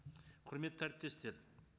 құрметті әріптестер